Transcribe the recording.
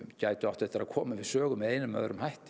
gætu átt eftir að koma við sögu með einum eða öðrum hætti